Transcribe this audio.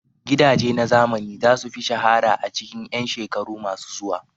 Gidaje na zamani za su fi shahara a cikin 'yan shekaru masu zuwa.